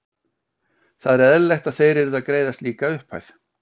Það er eðlilegt að þeir yrðu að greiða slíka upphæð.